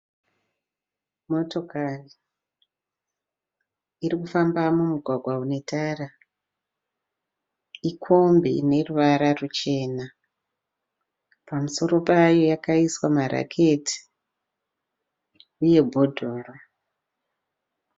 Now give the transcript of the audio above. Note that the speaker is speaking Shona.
Motokari iri kufamba mumugwagwa une tara. Ikombi ine ruvara ruchena pamusoro payo yakaiswa maraketi uye bhodhoro